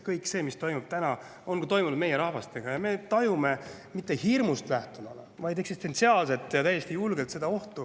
Kõik see, mis toimub täna, on ka toimunud meie rahvastega ja me tajume seda eksistentsiaalset ohtu mitte hirmust lähtuvalt, vaid täiesti julgelt.